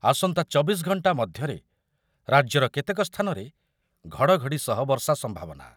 ଆସନ୍ତା ଚବିଶ ଘଣ୍ଟା ମଧ୍ୟରେ ରାଜ୍ୟର କେତେକ ସ୍ଥାନରେ ଘଡ଼ଘଡ଼ି ସହ ବର୍ଷା ସମ୍ଭାବନା ।